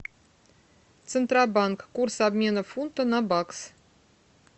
центробанк курс обмена фунта на бакс